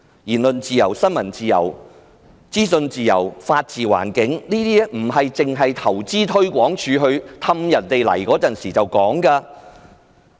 言論自由、新聞自由、資訊自由和法治環境，都不是投資推廣署哄人來港時才說的。